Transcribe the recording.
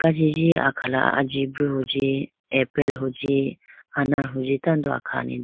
Kajiji akhala ajibru huji apple huji anar huji tando akhane.